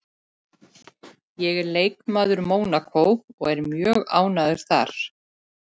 Ég er leikmaður Mónakó og ég er mjög ánægður þar